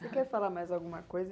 Você quer falar mais alguma coisa?